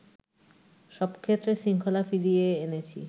সবক্ষেত্রে শৃঙ্খলা ফিরিয়ে এনেছি